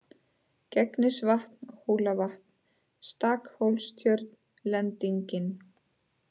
Gegnisvatn, Hólavatn, Stakhólstjörn, Lendingin